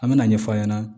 An me na ɲɛfɔ a ɲɛna